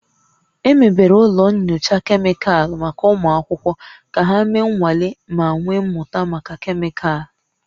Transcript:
Emebere ụlọ nyocha kemịkalụ maka ụmụ akwụkwọ ka ha mee nnwale ma wee mụta maka kemịkalụ